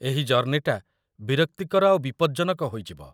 ଏହି ଜର୍ଣ୍ଣିଟା ବିରକ୍ତିକର ଆଉ ବିପଜ୍ଜନକ ହୋଇଯିବ ।